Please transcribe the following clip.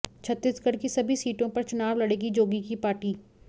छत्तीसगढ़ की सभी सीटों पर चुनाव लड़ेगी जोगी की पार्टी